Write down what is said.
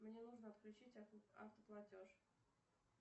мне нужно отключить автоплатеж